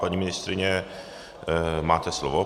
Paní ministryně, máte slovo.